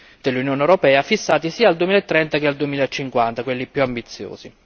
dell'Unione europea fissati sia al 2030 sia al 2050 quelli più ambiziosi.